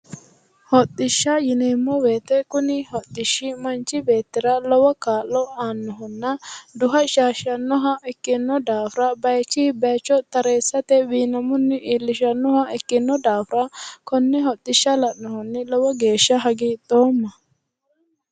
Hodhishsha yineemmo woyiite kuni hodhishshi manchi beettira lowo kaa'lo aannohonna duha shaashshannoha ikkino daafira baayiichi baayiicho tareessate wiinammunni iillishannoha ikkinno daafira konne hodhishsha la'nohunni lowo geeshsha hagiidhoomma.